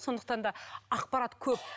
сондықтан да ақпарат көп